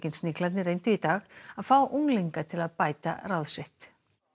Sniglarnir reyndu í dag að fá unglinga til að bæta ráð sitt